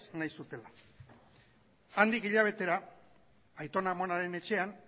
nahi zutela handik hilabetera aiton amonaren etxean